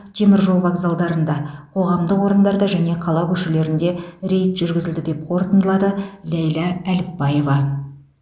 теміржол вокзалдарында қоғамдық орындарда және қала көшелерінде рейд жүргізілді деп қорытындылады ләйлә әліпбаева